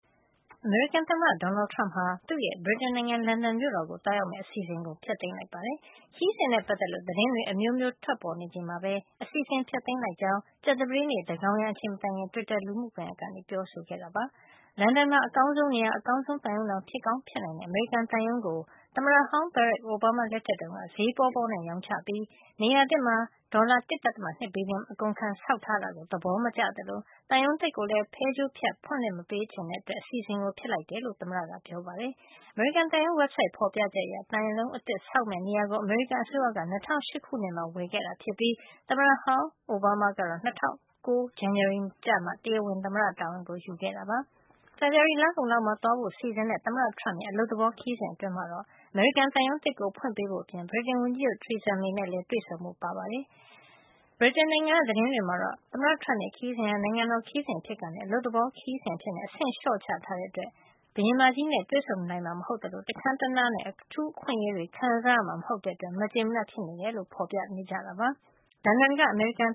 အမေရိကန်သမ္မတ Donald Trump ဟာ သူ့ရဲ့ ဗြိတိန်နိုင်ငံ လန်ဒန်မြို့တော်ကို သွားရောက်မယ့် အစီအစဉ်ကို ဖျက်လိုက်ပါတယ်။ခရီးစဉ်နဲ့ ပတ်သက်လို့ သတင်းတွေ အမျိုးမျိုး ထွက်ပေါ်နေချိန်မှာပဲ အစီအစဉ်ကို ဖျက်လိုက်ကြောင်း ကြာသပတေးနေ့ သန်းခေါင်ယံအချိန် မတိုင်ခင် Twitter လူမှုကွန်ယက်ကနေ ပြောဆိုလိုက်တာပါ။ လန်ဒန်မှာ အကောင်းဆုံး နေရာ၊ အကောင်းဆုံးသံရုံးတောင် ဖြစ်ကောင်း ဖြစ်နိုင်တဲ့ အမေရိကန်သံရုံးကို သမ္မတဟောင်း Barack Obama လက်ထက်တုန်းက ဈေးပေါပေါနဲ့ ချရောင်းပြီး၊ နေရာသစ်မှာ ဒေါ်လာ ၁.၂ ဘီလီယံ အကုန်ခံပြီး ဆောက်ထားတဲ့ အစီအစဉ်ကို သဘောမကျသလို၊ သံရုံးသစ်ကိုလည်း ဖဲကြိုးဖြတ် ဖွင့်လှစ်မပေးချင်တာကြောင့် အစီအစဉ်ကို ဖျက်လိုက်ရတာ ဖြစ်ကြောင်းလည်း သမ္မတ Trump ကပြောဆိုခဲ့ပါတယ်။ အမေရိကန်သံရုံး ဝဘ်ဆိုဒ်ရဲ့ ဖော်ပြချက်အရ၊ သံရုံးသစ် ဆောက်လုပ်မယ့် နေရာကို အမေရိကန်အစိုးရက ၂၀၀၈ ခုနှစ်မှာ ဝယ်ယူခဲ့တာ ဖြစ်ပြီး၊ သမ္မတဟောင်း အိုဘားမားကတော့ ၂၀၀၉ ခုနှစ် ဇန်နဝါရီလကျမှ တရားဝင် သမ္မတတာဝန်ယူခဲ့တာပါ။ ဖေဖော်ဝါရီ လကုန်လောက်မှာ သွားရောက်ဖို့ စီစဉ်ထားတဲ့ သမ္မတ Trump ရဲ့ အလုပ်သဘော ခရီးစဉ်အတွင်းမှာတော့ အမေရိကန်သံရုံး သစ်ကို ဖွင့်လှစ်ပေးဖို့ မျှော်လင့်ထားသလို၊ ဗြိတိန်ဝန်ကြီးချုပ် Theresa May နဲ့လည်း တွေ့ဆုံဖို့ ရှိပေမဲ့ ရက်အတိအကျ ကြေညာထားတာမျိုး တော့ မရှိပါဘူး။ ဗြိတိန်နိုင်ငံက သတင်းတွေမှာတော့ သမ္မတ Trump ရဲ့ ခရီးစဉ်ဟာ နိုင်ငံတော် ခရီးစဉ်အဖြစ်ကနေ အလုပ်သဘော ခရီးစဉ်အဖြစ် အဆင့် လျှော့ချထားတဲ့အတွက် ဘုရင်မကြီးနဲ့လည်း တွေ့ဆုံနိုင်မှာ မဟုတ်သလို၊ တခန်းတနားနဲ့ အထူးအခွင့်အရေးတွေ ခံစားရမှာမဟုတ်တဲ့အတွက် မကျေမနပ် ဖြစ်နေတာလို့ ဖော်ပြနေကြတာပါ။ လန်ဒန်က အမေရိကန်